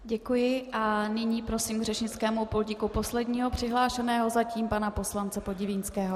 Děkuji, a nyní prosím k řečnickému pultíku posledního přihlášeného zatím, pana poslance Podivínského.